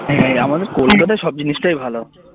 হ্যাঁ আমাদের কলকাতার সব জিনিসটাই ভালো